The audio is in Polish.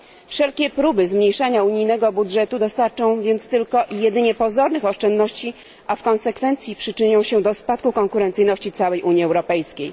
Wszelkie próby zmniejszania unijnego budżetu dostarczą więc tylko jedynie pozornych oszczędności, a w konsekwencji przyczynią się do spadku konkurencyjności całej Unii Europejskiej.